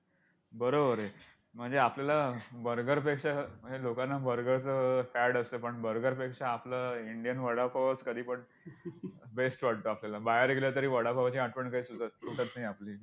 बरोबर आहे म्हणजे आपल्याला burger पेक्षा म्हणजे लोकांना burger च फॅड असतं burger पेक्षा आपलं indian वडापावच कधीपण best वाटतो आपल्याला बाहेर गेलं तरी वडापावची आठवण काय सुटत नाही आपली!